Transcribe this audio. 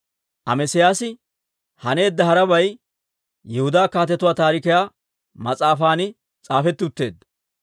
Amesiyaasi haneedda harabay Yihudaa Kaatetuwaa Taarikiyaa mas'aafan s'aafetti utteedda.